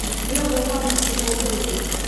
Nũ ũgũka mũciĩ ũmũthĩ?